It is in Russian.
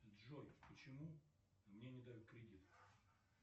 джой почему мне не дают кредит